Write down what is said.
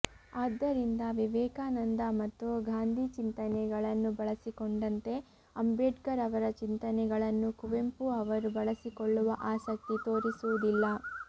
ಆದ್ದರಿಂದ ವಿವೇಕಾನಂದ ಮತ್ತು ಗಾಂಧೀ ಚಿಂತನೆಗಳನ್ನು ಬಳಸಿಕೊಂಡಂತೆ ಅಂಬೇಡ್ಕರ್ ಅವರ ಚಿಂತನೆಗಳನ್ನು ಕುವೆಂಪು ಅವರು ಬಳಸಿಕೊಳ್ಳುವ ಆಸಕ್ತಿ ತೋರಿಸುವುದಿಲ್ಲ